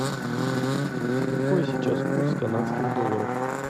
какой сейчас курс канадских долларов